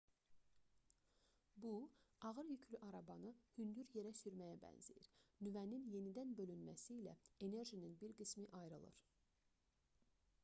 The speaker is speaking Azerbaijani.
bu ağır yüklü arabanı hündür yerə sürməyə bənzəyir nüvənin yenidən bölünməsi ilə enerjinin bir qismi ayrılır